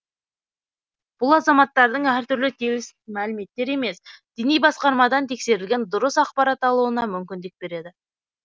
бұл азаматтардың әртүрлі теріс мәліметтер емес діни басқармадан тексерілген дұрыс ақпарат алуына мүмкіндік береді